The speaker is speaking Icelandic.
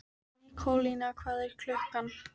Nikólína, hvað er klukkan?